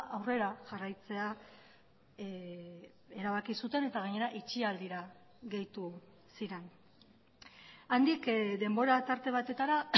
aurrera jarraitzea erabaki zuten eta gainera itxialdira gehitu ziren handik denbora tarte batetara